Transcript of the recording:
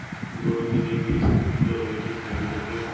পুরনো দিনের যেই school গুলো রয়েছে সে গুলো কে,